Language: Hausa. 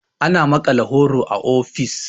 ana maƙala horo a ofis